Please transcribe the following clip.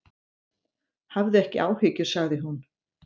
Hafðu ekki áhyggjur, sagði hún.